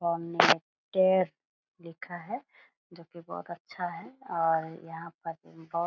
सामने लिखा है जो कि बहोत अच्छा है और यहाँ पर बहोत --